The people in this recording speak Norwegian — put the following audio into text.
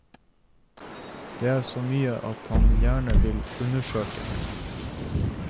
Det er så mye han gjerne vil undersøke.